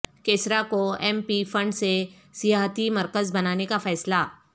کیسرا کو M P fund سے سیاحتی مرکز بنانے کا فیصلہ